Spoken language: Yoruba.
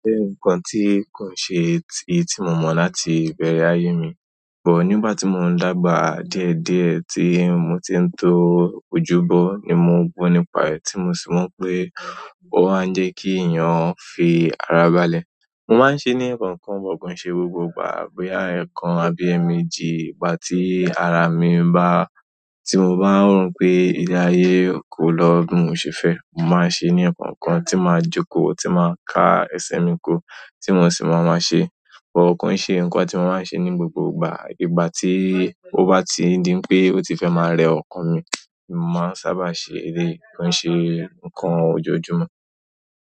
Oje nǹkan tí ì kò ń ṣe èyí tí mo mọ̀ láti ìbẹ̀rẹ̀ ayé mi, ṣùgbọ́n nígbà tí mò ń dàgbà díẹ̀ díẹ̀ tí mo ti ń tó ojúbọ ni mo gbó nípa rẹ̀ tí mo sì mọ̀ pé ó máa ń jẹ́ kí èèyàn fi ara balẹ̀. Mo máa ń ṣeé ni ẹ̀kọ̀ọ̀kan but kò ń ṣe gbogbo ìgbà bóyá ẹ̀ẹ̀kan àbí ẹ̀mejì ìgbà tí ara mi bá-- ti mo bá ń wo n pé ilé ayé kò lọ bí mo ṣe fẹ́, mo máa ń ṣe ni ẹ̀kọ̀ọ̀kan, ti máa jókòó, ti máa kà ẹsẹ̀ mi ko ti mo sì máa máa ṣe. But kò nṣe nǹkan tí mo máa ń ṣe ní gbogbo ìgbà. Ìgbà tí ó bá ti ń di npé ó ti fẹ́ máa rẹ ọkàn mi, ni mo máa ń sábà ṣe eléyi. Kò nṣe nǹkan ojoojúmọ́.